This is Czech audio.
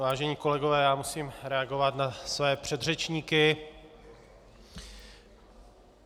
Vážení kolegové, já musím reagovat na své předřečníky.